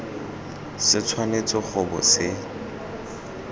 se tshwanetse go bo se